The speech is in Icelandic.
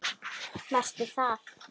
Varstu það?